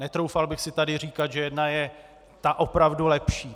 Netroufal bych si tady říkat, že jedna je ta opravdu lepší.